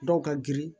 Dɔw ka girin